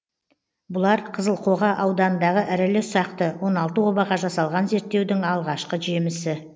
бұлар қызылқоға ауданындағы ірілі ұсақты он алты обаға жасалған зерттеудің алғашқы жемісі